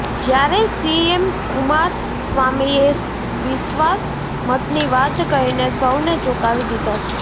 જ્યારે સીએમ કુમારસ્વામીએ વિશ્વાસ મતની વાત કહીને સૌને ચોંકાવી દીધા છે